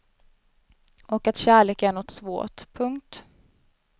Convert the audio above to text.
Och att kärlek är något svårt. punkt